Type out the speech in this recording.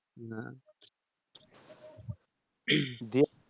না দিয়ে